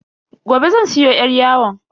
Gobe zan siyo yar yawon.